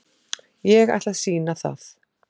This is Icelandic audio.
Ég ætla að sýna það.